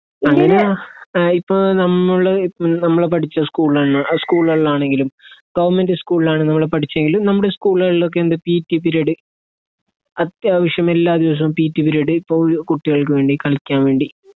അങ്ങനെ ഏഹ് ഇപ്പൊ നമ്മൾ നമ്മളെ പഠിച്ച സ്കൂളൊന്നും ആ സ്കൂളുകൾലാണെങ്കിലും ഗവണ്മെന്റ് സ്കൂൾലാണ് നമ്മൾ പഠിച്ചെങ്കിൽ നമ്മടെ സ്കൂളുകളിലൊക്കെ എന്ത് പി ട്ടി പീരീഡ് അത്യാവിശ്യമെല്ലാ ദിവസോം പി ട്ടി പീരീഡ് ഇപ്പൊ കുട്ടികൾക്ക് വേണ്ടി കളിക്കാൻ വേണ്ടി